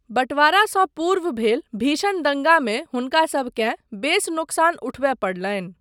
बँटवारासँ पूर्व भेल भीषण दङ्गामे हुनकासबकेँ बेस नोकसान उठबय पड़लनि।